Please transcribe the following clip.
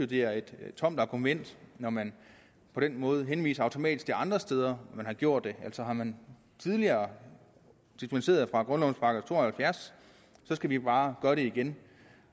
det er et tomt argument når man på den måde henviser automatisk til andre steder man har gjort det altså har man tidligere dispenseret fra grundlovens § to og halvfjerds så skal vi bare gøre det igen